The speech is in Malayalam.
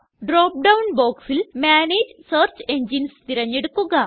ഡ്രോപ്പ് ഡൌൺ boxല് മാനേജ് സെർച്ച് എൻജിനെസ് തിരഞ്ഞെടുക്കുക